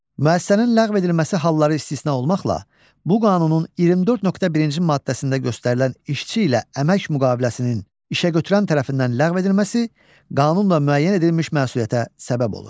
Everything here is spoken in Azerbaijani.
Müəssisənin ləğv edilməsi halları istisna olmaqla, bu qanunun 24.1-ci maddəsində göstərilən işçi ilə əmək müqaviləsinin işəgötürən tərəfindən ləğv edilməsi, qanunla müəyyən edilmiş məsuliyyətə səbəb olur.